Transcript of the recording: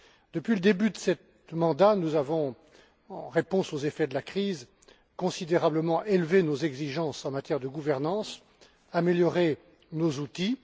Depuis le début de ce mandat, nous avons, en réponse aux effets de la crise, considérablement élevé nos exigences en matière de gouvernance et amélioré nos outils.